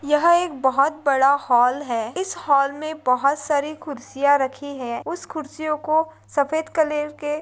यह एक बहुत बडा हॉल है। इस हॉल मे बोहोत सारी कुर्सीया रखी है। उस खुरसियो को सफेद कलर के --